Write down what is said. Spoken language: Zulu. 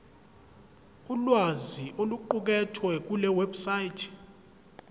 ulwazi oluqukethwe kulewebsite